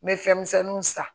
N bɛ fɛn misɛnninw san